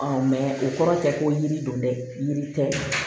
o kɔrɔ tɛ ko yiri don dɛ yiri tɛ